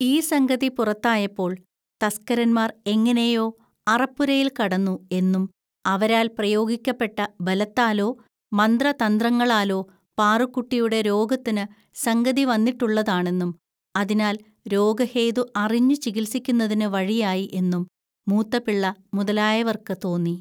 ഈ സംഗതി പുറത്തായപ്പോൾ തസ്‌ക്കരന്മാർ എങ്ങനെയോ അറപ്പുരയിൽ കടന്നു എന്നും, അവരാൽ പ്രയോഗിക്കപ്പെട്ട ബലത്താലോ മന്ത്ര തന്ത്രങ്ങളാലോ പാറുക്കുട്ടിയുടെ രോഗത്തിന് സംഗതി വന്നിട്ടുള്ളതാണെന്നും, അതിനാൽ രോഗഹേതു അറിഞ്ഞു ചികിത്സിക്കുന്നതിനു വഴിയായി എന്നും, മൂത്തപിള്ള മുതലായവർക്കു തോന്നി.